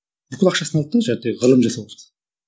бүкіл ақшасын алды да ғылым жасауға